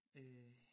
Øh